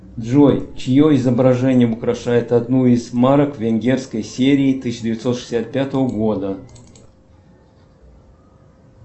джой чье изображение украшает одну из марок венгерской серии тысяча девятьсот шестьдесят пятого года